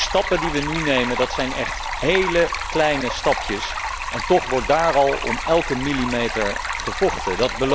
De stappen die we nu nemen zijn echt heel kleine stapjes en toch wordt er al om elke millimeter gevochten.